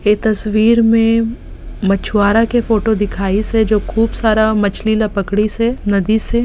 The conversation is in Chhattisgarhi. ये तस्वीर में मछुआरे के फोटो दिखाइस हे जो खूब सारा मछली ला पकडिसे नदी से।